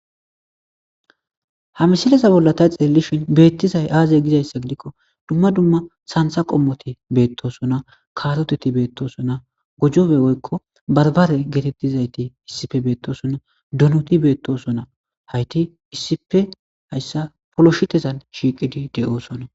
Ha misileza bolla tay xiellishin beettizay aaze gizayssa gidikko dumma dumma santha qommoti beettosona kaaroteti beettosonna gujobe woykko barbare geetettizayti issife beettosunna dunuti beettosonna hayti issipe hayssa poloshitezan shiiqidi de'oosonna.